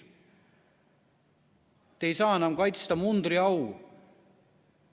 Te ei saa enam kaitsta mundriau.